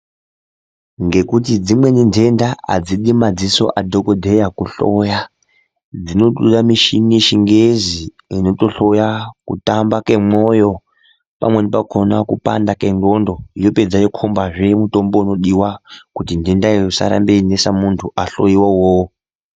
Ngekuti dzimweni ndenda adzidi madziso adhokodheya kuhloya dzinotoda michini yechingezi inotohloya kutamba mwemwoyo pamweni pakona kupanda kwendxondo yapedza yokombazve mitombo unodiwa kuti ndendayo isarambe yeinesa muntu ahloiwa uwowo .